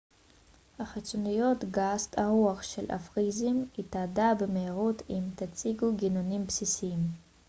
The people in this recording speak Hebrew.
החיצוניות גסת הרוח של הפריזאים תתאדה במהירות אם תציגו גינונים בסיסיים